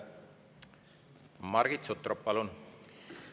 Margit Sutrop, palun!